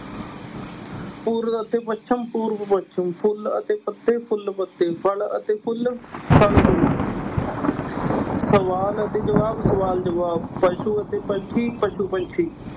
ਪੂਰਬ ਅਤੇ ਪੱਛਮ ਪੂਰਬ ਪੱਛਮ, ਫੁੱਲ ਅਤੇ ਪੱਤੇ ਫੁੱਲ ਪੱਤੇ, ਫਲ ਅਤੇ ਫੁੱਲ ਫਲ ਫੁੱਲ ਸਵਾਲ ਅਤੇ ਜਵਾਬ ਸਵਾਲ ਜਵਾਬ, ਪਸੂ ਅਤੇ ਪੰਛੀ ਪਸੂ ਪੰਛੀ